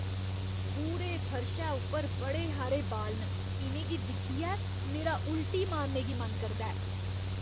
पूरे फर्शै उप्पर बड़े हारे बाल न। इ'नें गी दिक्खियै मेरा उल्टी मारने गी मन करदा ऐ।